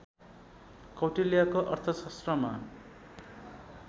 कौटिल्यको अर्थशास्त्रमा